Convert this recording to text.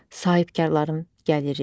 Sahibkarların gəliri.